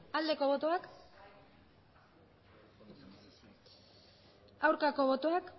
aldeko botoak aurkako botoak